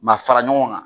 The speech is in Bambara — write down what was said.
Ma fara ɲɔgɔn kan